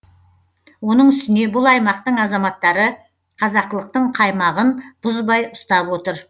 оның үстіне бұл аймақтың азаматтары қазақылықтың қаймағын бұзбай ұстап отыр